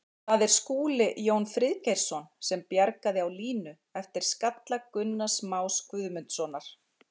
Það er Skúli Jón Friðgeirsson sem bjargaði á línu eftir skalla Gunnars Más Guðmundssonar.